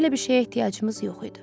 Belə bir şeyə ehtiyacımız yox idi.